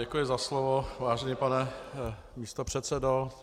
Děkuji za slovo, vážený pane místopředsedo.